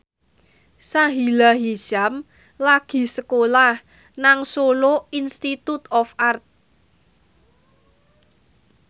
Sahila Hisyam lagi sekolah nang Solo Institute of Art